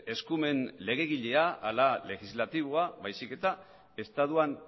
eskumen legegilea ala legislatiboa baizik eta estatuan